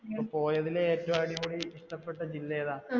അപ്പൊ പോയതിൽ ഏറ്റവും അടിപൊളി ഇഷ്ടപെട്ട ജില്ല ഏതാ